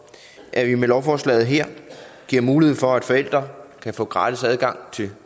at vi med lovforslaget her giver mulighed for at forældre kan få gratis adgang til